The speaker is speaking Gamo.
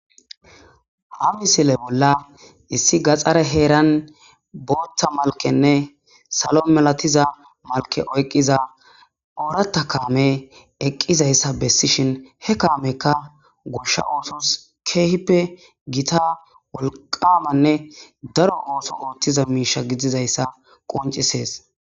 ha misile bolla issi gaxxare heeran booththa malkenne salo melatiza malke oyqqiza oorata kaame eqqizayssa bessishin he kaamekka goshsha ootos keehippe giita wolqamanne daro ooso oottiza miisha gidizayssa qoncisees